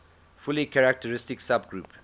fully characteristic subgroup